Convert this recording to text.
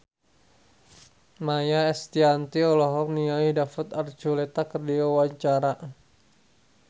Maia Estianty olohok ningali David Archuletta keur diwawancara